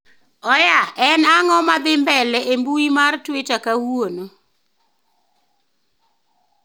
Oya en ang'o madhi mbele e mbui mar twita kawuono